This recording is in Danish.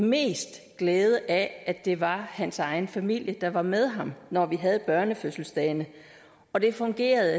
mest glæde af at det var hans egen familie der var med ham når vi havde børnefødselsdagene og det fungerede